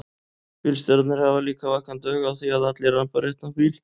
Bílstjórarnir hafa líka vakandi auga á því að allir rambi á réttan bíl.